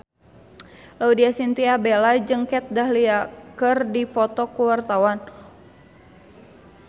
Laudya Chintya Bella jeung Kat Dahlia keur dipoto ku wartawan